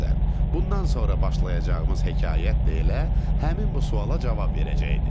Bundan sonra başlayacağımız hekayət də elə həmin bu suala cavab verəcəkdi.